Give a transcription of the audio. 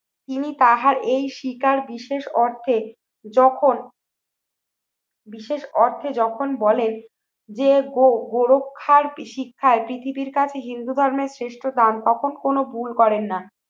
তিনি তাহার এই শিকার বিশেষ অর্থে যখন বিশেষ অর্থে যখন বলে যে গোরক্ষার কি শিক্ষায় পৃথিবীর কাছে হিন্দু ধর্মের শ্রেষ্ঠ দান তখন কোন ভুল করেন না।